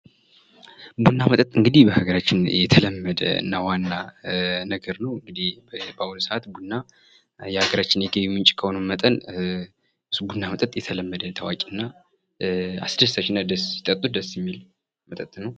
ቡና መጠጥ እንግዲህ በሀገራችን የተለመደ እና ዋና መጠጥ ነዉ። በአሁኑ ሰዓት ቡና የሀገራችን የገቢ ምንጭ የሆነ እና ሲጠጡት አስደሳች እና ሲጠጡት ደስ የሚል መጠጥ ነዉ።